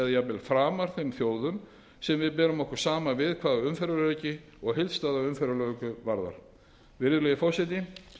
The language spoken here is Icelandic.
jafnvel framar þeim þjóðum sem við berum okkur saman við hvað umferðaröryggi og heildstæða umferðarlöggjöf varðar virðulegi forseti